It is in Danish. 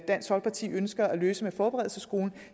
dansk folkeparti ønsker at løse med forberedelsesskolen